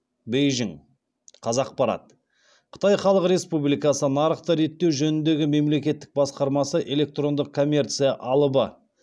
бейжің қазақпарат қытай халық республикасының нарықты реттеу жөніндегі мемлекеттік басқармасы электрондық коммерция алыбы